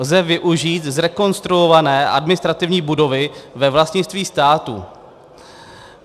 Lze využít zrekonstruované administrativní budovy ve vlastnictví státu.